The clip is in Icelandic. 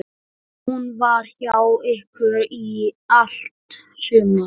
Hún var hjá ykkur í allt sumar.